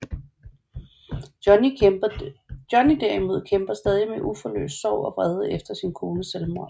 Johnny derimod kæmper stadig med uforløst sorg og vrede efter sin kones selvmord